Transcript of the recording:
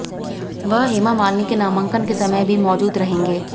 वह हेमा मालिनी के नामांकन के समय भी मौजूद रहेंगे